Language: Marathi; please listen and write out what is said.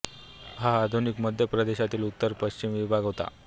हा आधुनिक मध्य प्रदेशातील उत्तर पश्चिम विभाग होता